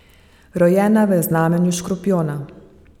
Rojena je v znamenju škorpijona.